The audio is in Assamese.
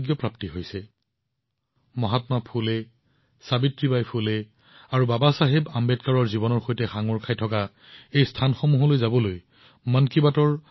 মই মন কী বাতৰ শ্ৰোতাসকলক মহাত্মা ফুলে সাবিত্ৰীবাই ফুলে আৰু বাবাচাহেব আম্বেদকাৰৰ সৈতে জড়িত ঠাইসমূহ পৰিদৰ্শন কৰিবলৈ অনুৰোধ জনাইছো